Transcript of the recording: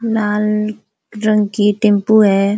लाल रंग की टेंपू है।